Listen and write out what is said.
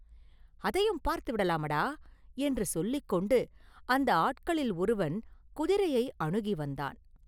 “அதையும் பார்த்து விடலாமடா!” என்று சொல்லிக் கொண்டு, அந்த ஆட்களில் ஒருவன் குதிரையை அணுகி வந்தான்.